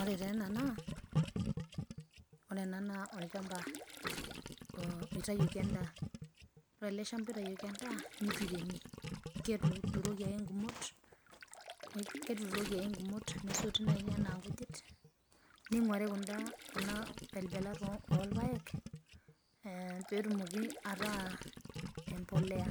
Ore taa ena naa olchamba oitayoki endaa, ore ale shamba oitayoki endaa netueremi ketuturoki enkumot nesoti nenyena enkujit neinguari kundaa pelpelat olpaek peetumoki ataa embolea,